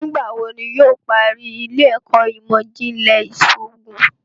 Nigbawo ní iwọ yóò parí ile-ẹkọ imọ-jinlẹ iṣoogun?